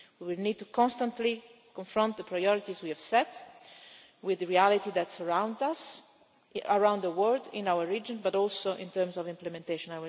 We need constantly to adapt the priorities we have set with the reality that surrounds us around the world, in our region, and also in terms of implementation.